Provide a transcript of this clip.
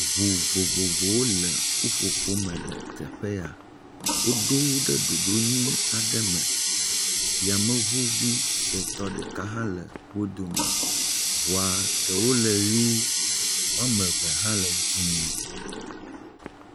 Ŋu vovovowo le ƒuƒoƒo me le teƒe ya. Woɖo wo ɖe ɖoɖo nyui aɖe me. Yameŋuvi suetɔ ɖeka hã le wo dome, ŋua ɖewo le ʋi, woame eve hã le dzɛ̃.